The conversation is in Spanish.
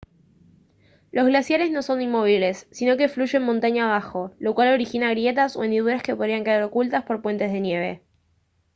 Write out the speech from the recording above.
los glaciares no son inmóviles sino que fluyen montaña abajo lo cual origina grietas o hendiduras que podrían quedar ocultas por puentes de nieve